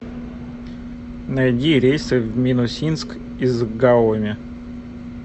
найди рейсы в минусинск из гаоми